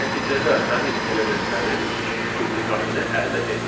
və nəticədə həmin elementlərin dublikatını əldə etdik.